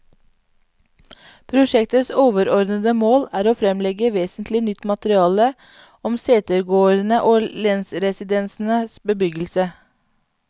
Prosjektets overordede mål er å fremlegge vesentlig nytt materiale om setegårdene og lensresidensenes bebyggelse.